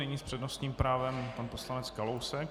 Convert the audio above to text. Nyní s přednostním právem pan poslanec Kalousek.